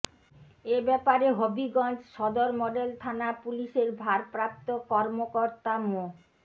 এ ব্যাপারে হবিগঞ্জ সদর মডেল থানা পুলিশের ভারপ্রাপ্ত কর্মকর্তা মো